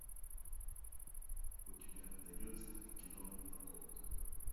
у тебя найдется кино парковка